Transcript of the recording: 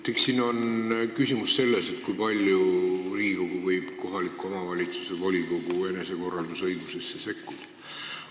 Eks siin ole küsimus selles, kui palju Riigikogu võib kohaliku omavalitsuse volikogu enesekorraldusõigusesse sekkuda.